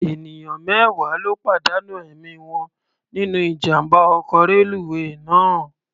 Ènìyàn mẹ́wàá ló pàdánù ẹ̀mí wọn nínú ijàm̀bá ọkọ̀ reluwé náà.